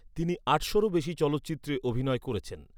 তিনি আটশোরও বেশি চলচ্চিত্রে অভিনয় করেছেন।